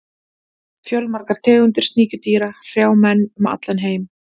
Fjölmargar tegundir sníkjudýra hrjá menn um allan heim.